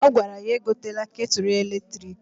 Ọ gwara ya egotela ketulu eletriki.